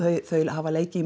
þau hafa leikið